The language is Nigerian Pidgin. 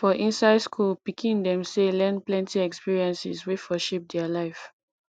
for inside school pikin dem sey learn plenty experiences wey for shape their life